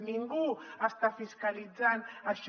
ningú està fiscalitzant això